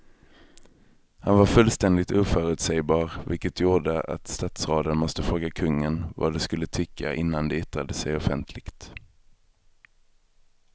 Han var fullständigt oförutsägbar vilket gjorde att statsråden måste fråga kungen vad de skulle tycka innan de yttrade sig offentligt.